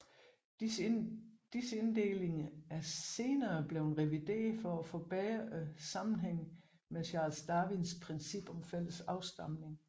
Disse inddelinger er senere blevet revideret for at forbedre sammenhængen med Charles Darwins princip om fælles afstamning